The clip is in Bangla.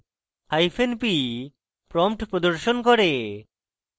hyphen p prompt প্রদর্শন করে